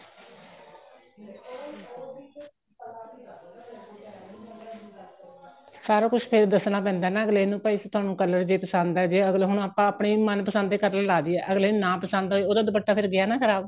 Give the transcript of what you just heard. ਸਾਰਾ ਕੁੱਝ ਫੇਰ ਦੱਸਣਾ ਪੈਂਦਾ ਹੈ ਨਾ ਅੱਗਲੇ ਨੂੰ ਭਾਈ ਤੁਹਾਨੂੰ color ਜੇ ਪਸੰਦ ਏ ਜੇ ਅੱਗਲਾ ਹੁਣ ਆਪਾਂ ਆਪਣੀ ਮਨ ਪਸੰਦ color ਲਾ ਦਹੀਏ ਅੱਗਲੇ ਨੂੰ ਨਾ ਪਸੰਦ ਆਏ ਉਹਦਾ ਦੁਪੱਟਾ ਤਾਂ ਫੇਰ ਗਿਆ ਨਾ ਖਰਾਬ